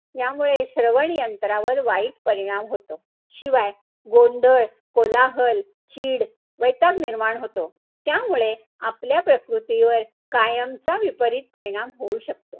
यामुळे श्रवण यंत्रावर वाईट परिणाम होतो. शिवाय, गोंधळ, कोलाहल, चीड, वैताग निर्माण होतो. त्यामुळे, आपल्या प्रकृतीवर कायमचा विपरीत परिणाम होऊ शकतो.